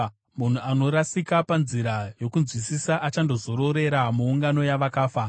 Munhu anorasika panzira yokunzwisisa achandozororera muungano yavakafa.